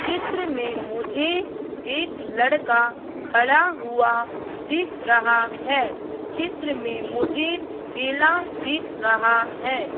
चित्र में मुझे एक लड़का खड़ा हुआ दिख रहा है चित्र में मुझे केला दिख रहा है।